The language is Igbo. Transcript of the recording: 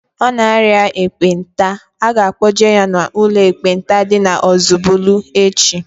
Ọ na aria ekpenta, a ga-kpọje ya n'ụlọ ekpenta dị n'Ozubulu echi